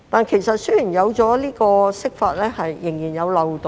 然而，雖然有這項釋法，但仍然存在漏洞。